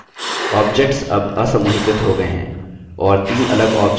objects अब असमूहीकृत हो गये हैं और the अलग objects की तरह संसाधित होते हैं